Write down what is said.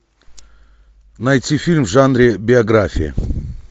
найти фильм в жанре биография